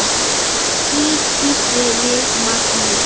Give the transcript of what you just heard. Hvíl í friði, Magnús.